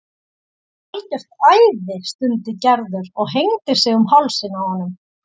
Þú ert algjört æði stundi Gerður og hengdi sig um hálsinn á honum.